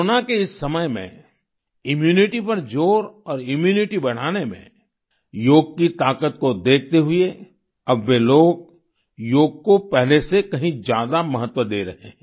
corona के इस समय में इम्यूनिटी पर ज़ोर और इम्यूनिटी बढ़ाने में योग की ताकत को देखते हुए अब वे लोग योग को पहले से कहीं ज्यादा महत्व दे रहे हैं